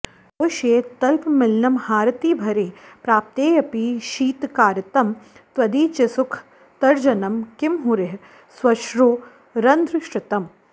श्रोष्ये तल्पमिलन्महारतिभरे प्राप्तेऽपि शीत्कारितं तद्वीचिसुखतर्जनं किमु हरे ः स्वश्रोत्ररन्ध्रश्रितम्